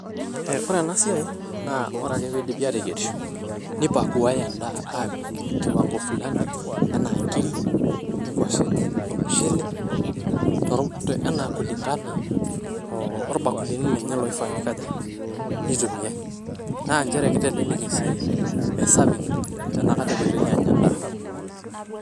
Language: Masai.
eh ore ena siai naa ore peidipi ateyierisho ,nipakuae endaa apik kiwango fulani enaa nkiri ,nkwashen ,ormushele ,torm enaa kulingana oo orbakulini lenye loifaa neikaja nitumiay .naa nchere kitelelek esiai e serving enakata epoitoi anya endaa.